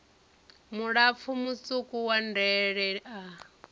mulapfu mutswuku wa ndele a